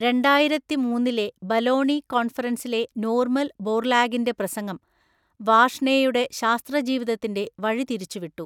രണ്ടായിരത്തിമൂന്നിലെ ബലോണി കോൺഫറൻസിലെ നോർമൻ ബോർലാഗിൻ്റെ പ്രസംഗം വാർഷ്ണേയുടെ ശാസ്ത്രജീവിതത്തിൻ്റെ വഴി തിരിച്ചുവിട്ടു.